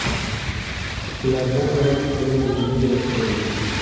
Ulardan biri Evem Medeyros bo‘lgan.